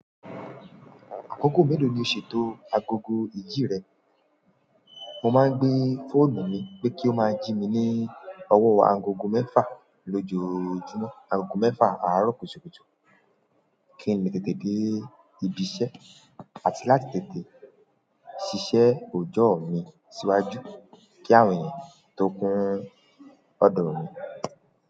Akoko mélòó ni o ṣètò agogo ìjì rẹ? Mo máa ń gbé fóònù mi pé kí o máa jí mi ní ọwọ́ agogo mẹ́fà lójoojúmọ́, agogo mẹ́fà àárọ̀ kùtùkùtù. Kí n lè tètè dé ibi iṣẹ́ àti láti tètè ṣiṣẹ́ òòjọ́ mi síwájú kí àwọn ènìyàn tó ń kún ọ̀dọ̀ mi.